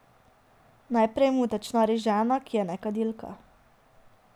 Najprej mu tečnari žena, ki je nekadilka.